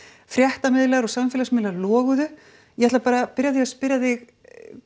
frétta og samfélagsmiðlar loguðu ég ætla bara að byrja á því að spyrja þig